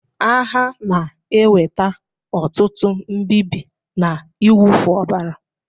Agha na-eweta ọtụtụ mbịbị na ịwụfu ọbara